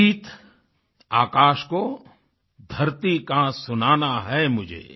गीत आकाश को धरती का सुनाना है मुझे